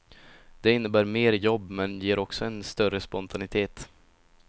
Det innebär mer jobb, men ger också en större spontanitet.